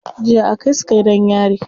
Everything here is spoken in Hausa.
Jiya aka kai su gidan yari.